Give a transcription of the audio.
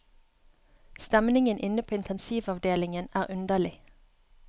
Stemningen inne på intensivavdelingen er underlig.